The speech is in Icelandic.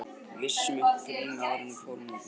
Við setjum upp grímu áður en við förum út á morgnana.